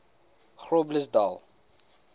groblersdal